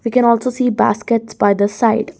We can also see baskets by the side.